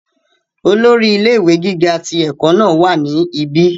olórí ilé ìwé gíga ti ẹ̀kọ́ náà wà ní ibi